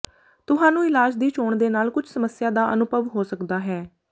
ਤੁਹਾਨੂੰ ਇਲਾਜ ਦੀ ਚੋਣ ਦੇ ਨਾਲ ਕੁਝ ਸਮੱਸਿਆ ਦਾ ਅਨੁਭਵ ਹੋ ਸਕਦਾ ਹੈ